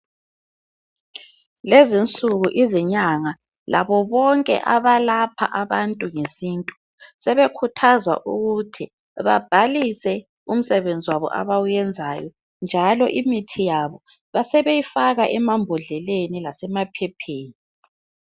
Lezinsuku izinyanga labo bonke abalapha abantu ngesintu sebekhuthazwa ukuthi babhalise umsebenzi wabo abawenzayo njalo imithi yabo besebeyifaka emambodleleni lasemaphepheni.